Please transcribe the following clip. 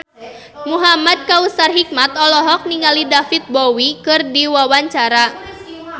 Muhamad Kautsar Hikmat olohok ningali David Bowie keur diwawancara